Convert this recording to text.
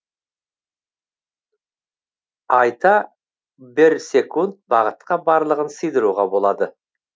айта берсекунд бақытқа барлығын сыйдыруға болады